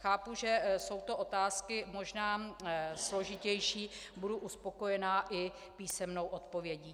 Chápu, že jsou to otázky možná složitější, budu uspokojená i písemnou odpovědí.